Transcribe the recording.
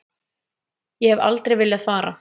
Ég hef aldrei viljað fara.